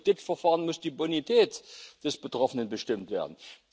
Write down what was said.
Im Kreditverfahren muss die Bonität des Betroffenen bestimmt werden.